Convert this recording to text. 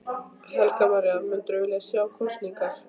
Helga María: Myndirðu vilja sjá kosningar?